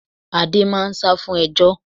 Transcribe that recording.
Adé máá ń sá fún ejò